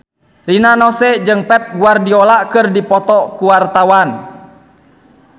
Rina Nose jeung Pep Guardiola keur dipoto ku wartawan